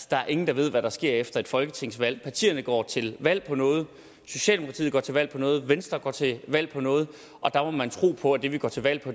der er ingen der ved hvad der sker efter et folketingsvalg partierne går til valg på noget socialdemokratiet går til valg på noget venstre går til valg på noget og der må man tro på at det vi går til valg på